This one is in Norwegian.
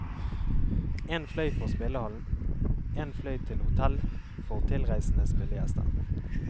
En fløy for spillehallen, en fløy til hotell for tilreisende spillegjester.